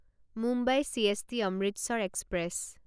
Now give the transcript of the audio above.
Mumbai CST Amritsar express